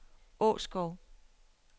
Åskov